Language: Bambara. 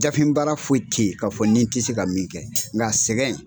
Dafinbaara foyi teyi k'a fɔ ni tɛ se ka min kɛ nka a sɛgɛn